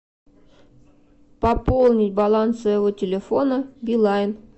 пополнить баланс своего телефона билайн